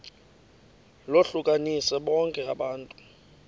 lohlukanise bonke abantu